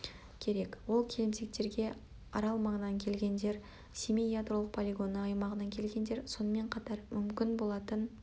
керек ол келімсектерге арал маңынан келгендер семей ядролық полигоны аймағынан келгендер сонымен қатар мүмкін болатын